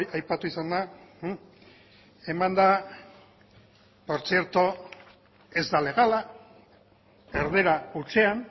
aipatu izan da eman da baina ez da legala erdara hutsean